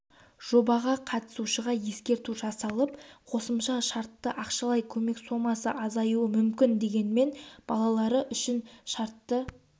жобаға қатысушыға ескерту жасалып қосымша шартты ақшалай көмек сомасы азаюы мүмкін дегенмен балалар үшін шартты